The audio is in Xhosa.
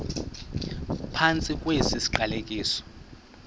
phantsi kwesi siqalekiso